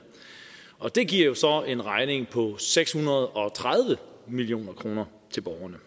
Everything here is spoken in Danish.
og det giver jo så en regning på seks hundrede og tredive million kroner til borgerne